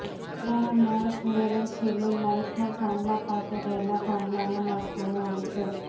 કૂતરાના મળ ભરેલો થેલો લાઇટના થાંભલા પાસે રહેલા થાંભલામા નાંખવાનો હોય છે